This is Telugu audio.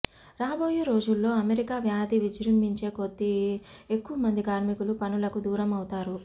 రాబోయే రోజుల్లో అమెరికా వ్యాధి విజృబించే కోద్ది ఎక్కువ మంది కార్మికులు పనులకు దూరం అవుత్తారు